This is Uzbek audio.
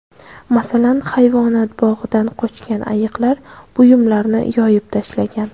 Masalan, hayvonot bog‘idan qochgan ayiqlar buyumlarni yoyib tashlagan.